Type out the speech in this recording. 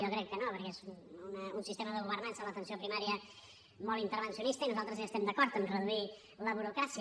jo crec que no perquè és un sistema de governança a l’atenció primària molt intervencionista i nosaltres hi estem d’acord en reduir la burocràcia